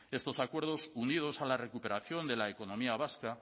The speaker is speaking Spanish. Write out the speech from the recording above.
estos acuerdos unidos a la recuperación de la economía vasca